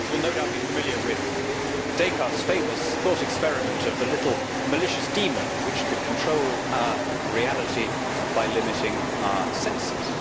will no doubt be familiar with Descartes' famous thought experiment of the little malicious demon which could control our reality by limiting our senses.